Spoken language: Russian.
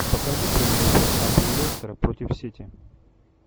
покажи прямой эфир апл лестер против сити